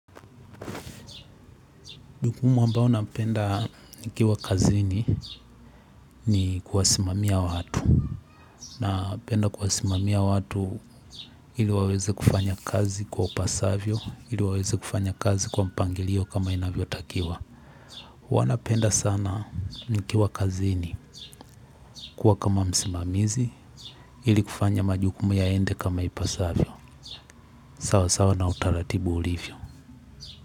Jukumu ambao napenda nikiwa kazini ni kuwasimamia watu. Na penda kuwasimamia watu ili waweze kufanya kazi kwa upasavyo, ili waweze kufanya kazi kwa mpangilio kama inavyo takiwa. Wanapenda sana nikiwa kazini kuwa kama msimamizi ili kufanya majukumu yaende kama ipasavyo. Sawa sawa na utaratibu ulivyo.